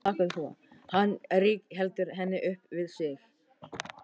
Hann rígheldur henni upp við sig.